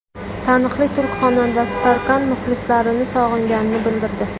Taniqli turk xonandasi Tarkan muxlislarini sog‘inganini bildirdi.